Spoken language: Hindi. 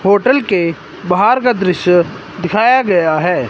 होटल के बाहर का दृश्य दिखाया गया है।